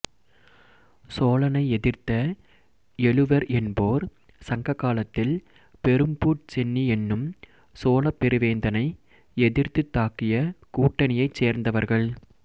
சோழனை எதிர்த்த எழுவர் என்போர் சங்க காலத்தில் பெரும்பூட் சென்னி என்னும் சோழப் பெருவேந்தனை எதிர்த்துத் தாக்கிய கூட்டணியைச் சேர்ந்தவர்கள்